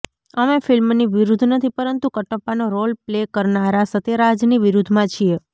અમે ફિલ્મની વિરુદ્ધ નથી પરંતુ કટપ્પાનો રોલ પ્લે કરનારા સત્યારાજની વિરુદ્ધમાં છીએ